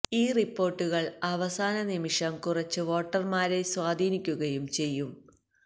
ഈ റിപ്പോർട്ടുകൾ അവസാന നിമിഷം കുറച്ച് വോട്ടർമാരെ സ്വാധീനിക്കുകയും ചെയ്യും